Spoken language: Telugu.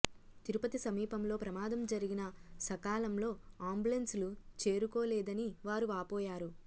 తిరుపతి సమీపంలో ప్రమాదం జరిగినా సకాలంలో అంబులెన్స్లు చేరుకోలేదని వారు వాపోయారు